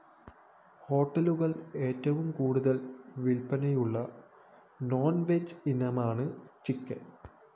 ഹോട്ടലുകള്‍ ഏറ്റവും കൂടുതല്‍ വില്‍പ്പനയുള്ള നോണ്‍വെജ് ഇനമാണ് ചിക്കൻ